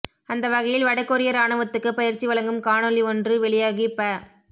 அந்த வகையில் வடகொரிய இராணுவத்துக்கு பயிற்சி வழங்கும் காணொளி ஒன்று வெளியாகி ப